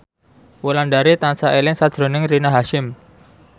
Wulandari tansah eling sakjroning Rina Hasyim